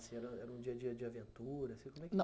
Era um dia a dia de aventura? Não